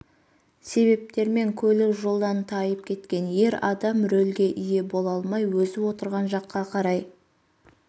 себептермен көлік жойдан тайып кеткен ер адам рөлге ие бола алмай өзі отырған жаққа қарай